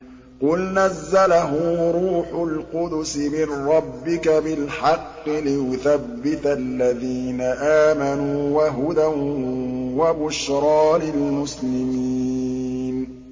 قُلْ نَزَّلَهُ رُوحُ الْقُدُسِ مِن رَّبِّكَ بِالْحَقِّ لِيُثَبِّتَ الَّذِينَ آمَنُوا وَهُدًى وَبُشْرَىٰ لِلْمُسْلِمِينَ